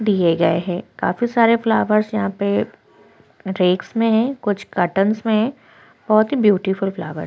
दिए गए हैं काफी सारे फ्लावर्स यहाँ पे रेक्स में है कर्टेन्स में है बहुत ब्यूटीफुल फ्लावर --